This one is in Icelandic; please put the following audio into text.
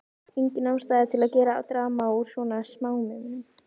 Engin ástæða til að gera drama úr svona smámunum.